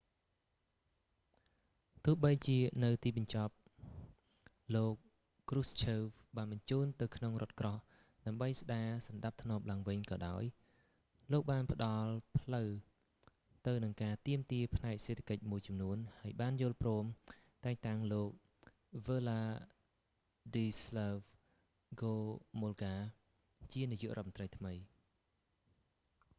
ទោះបីជានៅទីបញ្ចប់លោក គ្រូសឈើវ krushchev បានបញ្ជូននៅក្នុងរថក្រោះ ដើម្បីស្ដារសណ្ដាប់ធ្នាប់ឡើងវិញក៏ដោយ លោកបានផ្តល់ផ្លូវទៅនឹងការទាមទារផ្នែកសេដ្ឋកិច្ចមួយចំនួន ហើយបានយល់ព្រមតែងតាំងលោកវើឡាឌីស្លាវ ហ្គោមុលកា wladyslaw gomulka ជានាយករដ្ឋមន្ត្រីថ្មី